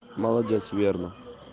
молодец верно